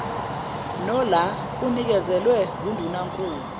nola anikezelwe ngundunankulu